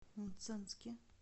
мценске